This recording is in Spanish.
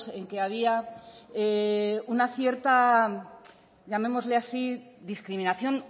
en que había una cierta llamémosle así discriminación